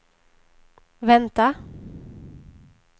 vänta